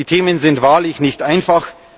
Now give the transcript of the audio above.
Die Themen sind wahrlich nicht einfach.